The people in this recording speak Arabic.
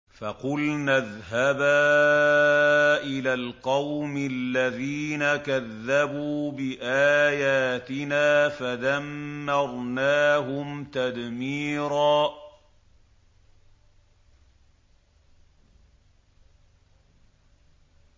فَقُلْنَا اذْهَبَا إِلَى الْقَوْمِ الَّذِينَ كَذَّبُوا بِآيَاتِنَا فَدَمَّرْنَاهُمْ تَدْمِيرًا